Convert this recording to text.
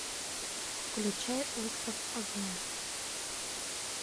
включай остров огня